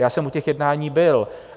Já jsem u těch jednání byl.